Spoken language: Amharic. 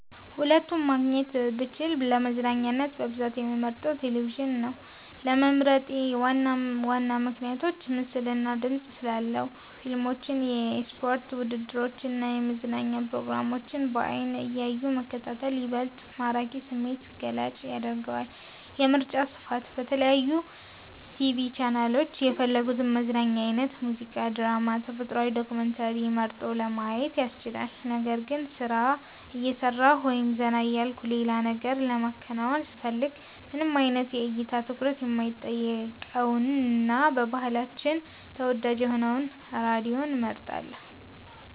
ሁለቱንም ማግኘት ብችል፣ ለመዝናኛነት በብዛት የምመርጠው ቴሌቪዥንን ነው። ለመምረጤ ዋና ዋና ምክንያቶች፦ ምስልና ድምጽ ስላለው፦ ፊልሞችን፣ የስፖርት ውድድሮችን እና የመዝናኛ ፕሮግራሞችን በዓይን እያዩ መከታተል ይበልጥ ማራኪና ስሜትን ገላጭ ያደርገዋል። የምርጫ ስፋት፦ በተለያዩ የቲቪ ቻናሎች የፈለጉትን የመዝናኛ አይነት (ሙዚቃ፣ ድራማ፣ ተፈጥሮ ዶክመንተሪ) መርጦ ለማየት ያስችላል። ነገር ግን፣ ስራ እየሰራሁ ወይም ዘና እያልኩ ሌላ ነገር ለማከናወን ስፈልግ፣ ምንም አይነት የእይታ ትኩረት የማይጠይቀውንና በባህላችን ተወዳጅ የሆነውን ራዲዮን እመርጣለሁ።